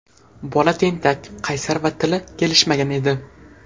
Bola tentak, qaysar va tili kelishmagan edi.